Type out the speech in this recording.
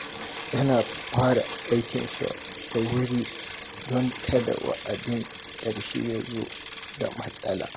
Yana fara aikinsa da wuri don kada wa’adin ƙarshe ya zo da matsala.